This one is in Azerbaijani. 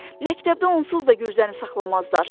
Məktəbdə onsuz da gürzəni saxlamazlar.